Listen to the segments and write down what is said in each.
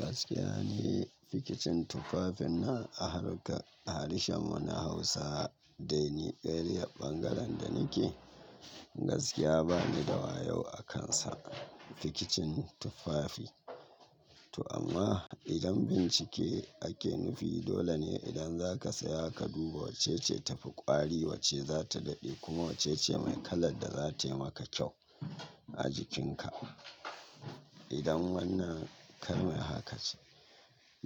Gaskiya ne, fikicin tufafin nan a harƙa, harshen wani Hausa dai ni ƙarya ɓangaren da nike, gaskiya bani da wayo akansa fikicin tufafi. To amma idan bincike ake nufi dole ne idan zaka saya ka duba wacce ce tafi ƙwari, wacce za ta daɗe kuma wacce ce mai kalar da zatai maka kyau a jikinka. Idan wannan kalma haka ce.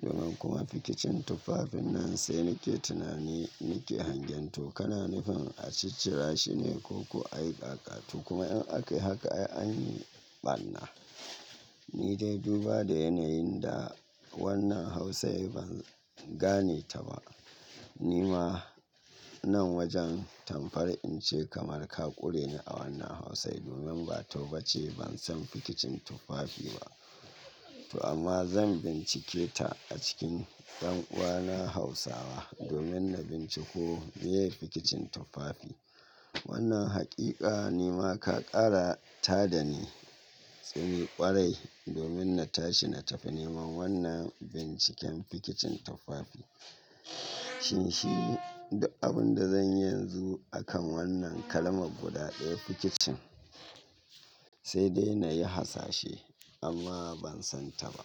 Domin kuma fikicin tufafin nan sai nike tunani, nike hangen to kana nufin a ciccira shine ko ku aikaƙatu kuma in ake haka an yi ɓarna. Ni dai duba da yanayin da wannan Hausa ban gane ta ba. Ni ma nan wajen tamfar in ce kamar ka ƙure ni a wannan Hausa domin ba tau bace ban san fikicin tufafi ba. To amma zan bincike ta a cikin ɗan uwana Hausawa domin na binciko me fikicin tufafi. Wannan haƙiƙa ni ma ka ƙara tada ni tsori ƙwarai domin na tashi na tafi neman wannan binciken fikicin tufafi. Shin shi duk abin da zan yi yanzu akan wannan kalmar guda ɗaya fikicin? Sai dai na yi hasashe amma ban san ta ba.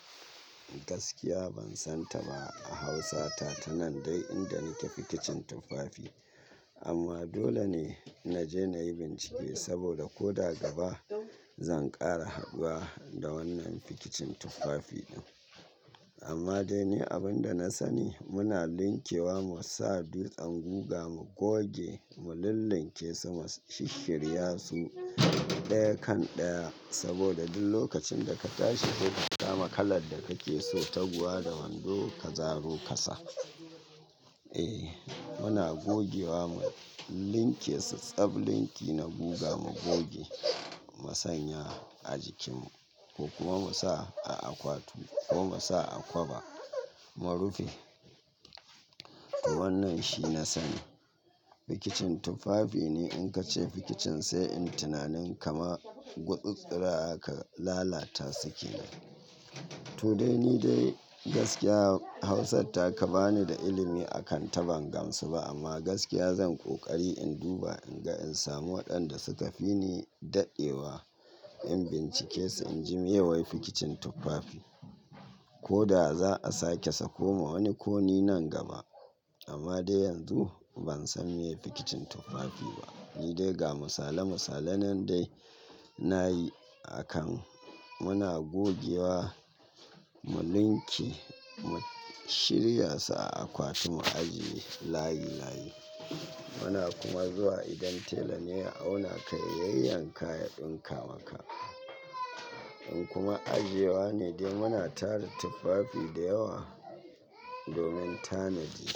Gaskiya ban san ta ba a Hausa ta tanan dai inda nike fikicin tufafi. Amma dole ne na je na yi bincike saboda ko daga ba zan ƙara haduwa da wannan fikicin tufafi ɗin. Amma dai ne abin da na sani muna linkewa mu sa dutsan guga mu goge, mu lillinke su mu shishshirya su ɗaya kan ɗaya saboda duk lokacin da ka tashi ko ka samu kalar da kake so, taguwa da wando ka zaro ka sa. Eh, muna gogewa mu linke su, tsaɓ linki na guga mu goge mu sanya a jikin mu ko kuma mu sa a akwatu ko mu sa a kwaba mu rufe. Wannan shi na sani. Fikicin tufafi ne in ka ce fikicin sai in tunanin kama gutsitstsuraw ka lalata kenan. To dai ni dai gaskiya Hausar ta ka ba ni da ilimi akan ta ban gamsu ba amma gaskiya zan ƙoƙari in duba in ga in samu waɗanda suka fi ni daɗewa in bincike su inji meye wai fikicin tufafi. Ko daga za a sake sako ma wani koni nan gaba. Amma dai yanzu ban san me fikicin tufafi ba. Ni dai ga misala misala nan dai na yi a kan muna gogewa mu linke mu shirya su a akwatu mu ajiye layi layi. Muna kuma zuwa idan tela ne ya auna ka ya yayyaka yan ɗinka maka. In kuma ajiyewa ne dai muna tara tufafi da yawa domin tanaji.